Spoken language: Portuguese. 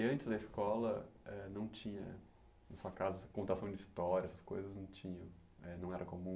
E antes na escola eh não tinha, no seu caso, contação de histórias, essas coisas não tinham, eh não era comum?